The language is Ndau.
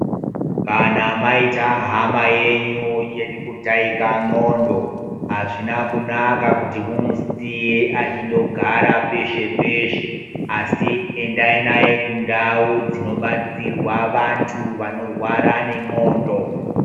Kana maita hama yenyu irikutaika ndxondo azvina kunaka kuti mumusiye achindogara peshe asi endai naye kundau dzinobatsirwa vantu vanorwara nendxondo.